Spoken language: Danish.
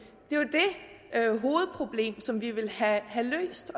hovedproblem som vi vil have løst